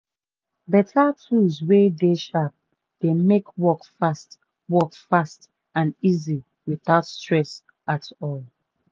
beta tools wey dey sharp dey make work fast work fast and easy witout stress at all.